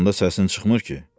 Yatanda səsin çıxmır ki?